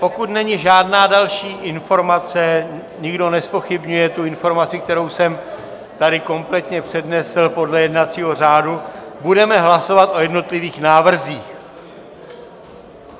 Pokud není žádná další informace, nikdo nezpochybňuje tu informaci, kterou jsem tady kompletně přednesl podle jednacího řádu, budeme hlasovat o jednotlivých návrzích.